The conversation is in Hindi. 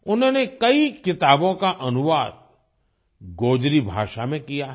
उन्होंने कई किताबों का अनुवाद गोजरी भाषा में किया है